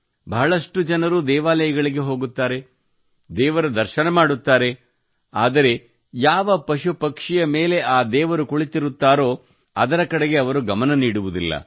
ಬಹಳಷ್ಟು ಜನರು ದೇವಾಲಯಗಳಿಗೆ ಹೋಗುತ್ತಾರೆ ದೇವರ ದರ್ಶನ ಮಾಡುತ್ತಾರೆ ಆದರೆ ಯಾವ ಪಶು ಪಕ್ಷಿಯ ಮೇಲೆ ಆ ದೇವರು ಕುಳಿತಿರುತ್ತಾರೋ ಅದರ ಕಡೆಗೆ ಅವರು ಗಮನ ನೀಡುವುದಿಲ್ಲ